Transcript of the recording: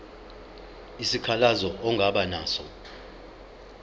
isikhalazo ongaba naso